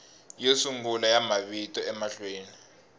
yo sungula ya mavito emahlweni